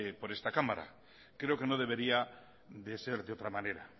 por esta cámara creo que no debería de ser de otra manera